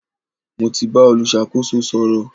Mo ti bá olùṣàkóso sọ̀rọ̀.